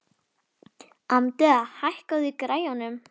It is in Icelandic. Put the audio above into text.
Amadea, hækkaðu í græjunum.